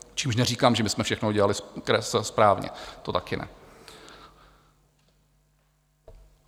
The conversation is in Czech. Čímž neříkám, že my jsme všechno dělali správně, to také ne.